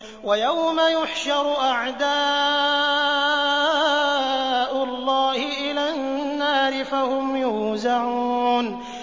وَيَوْمَ يُحْشَرُ أَعْدَاءُ اللَّهِ إِلَى النَّارِ فَهُمْ يُوزَعُونَ